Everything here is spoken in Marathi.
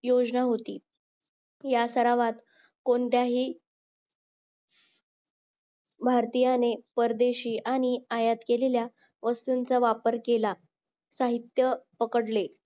योजना होती या सरावात कोणताही भारतीयाने परदेशी आणि आयात केलेल्या वस्तूंचा वापर केला साहित्य पकडले